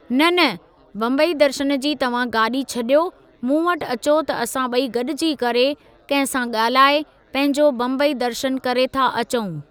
न न! बम्बई दर्शन जी तव्हां गाॾी छॾियो, मूं वटि अचो त असां ॿई गॾिजी करे, कंहिं सां ॻाल्हाए, पंहिंजो बम्बई दर्शनु करे था अचऊं।